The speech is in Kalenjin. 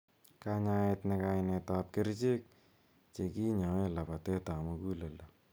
Kanyaet. Nee kainet ap kercherk che kinyoe labateet ap muguleldo.